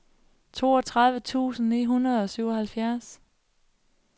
toogtredive tusind ni hundrede og syvoghalvfjerds